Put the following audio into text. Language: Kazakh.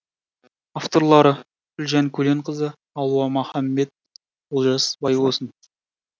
авторлары гүлжан көленқызы алуа маханбет олжас байбосын